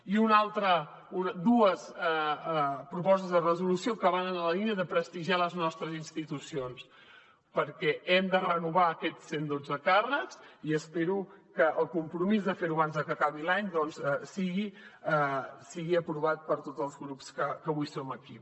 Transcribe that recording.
i dues propostes de resolució que van en la línia de prestigiar les nostres institucions perquè hem de renovar aquests cent dotze càrrecs i espero que el compromís de ferho abans que acabi l’any doncs sigui aprovat per tots els grups que avui som aquí